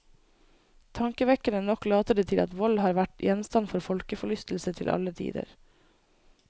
Tankevekkende nok later det til at vold har vært gjenstand for folkeforlystelse til alle tider.